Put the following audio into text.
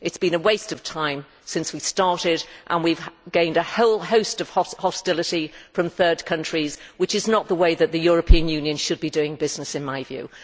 It has been a waste of time since we started, and we have gained a whole host of hostility from third countries, which is not the way that the European Union should be doing business in my view.